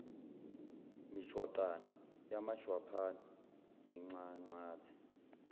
mijwaqana yamajwaphana ninxanxathe